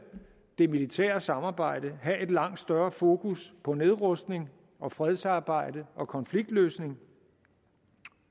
det militære samarbejde have et langt større fokus på nedrustning og fredsarbejde og konfliktløsning